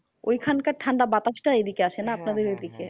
ঐ খান কার ঠান্ডা বাতাস তা এইদিকে আসে না? আপনাদের এইদিকে।